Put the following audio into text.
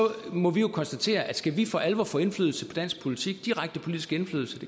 må vi jo konstatere at skal vi for alvor få indflydelse på dansk politik direkte politisk indflydelse